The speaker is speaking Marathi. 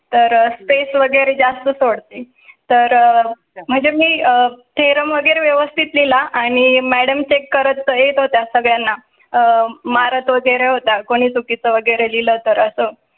तर स्पेस वगैरे जास्त सोडते तर म्हणजे मी अं वगैरे व्यवस्थित लिहला आणि madam check करत येत होत्या सगलयन्ना आह मारत वगैरे होता कोणी चुकी चं वगैरे लिहल तर असं